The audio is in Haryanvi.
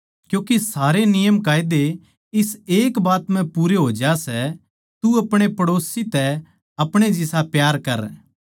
क्यूँके सारे नियम इस एक बात म्ह पूरे हो ज्या सै तू अपणे पड़ोसी तै अपणे जिसा प्यार कर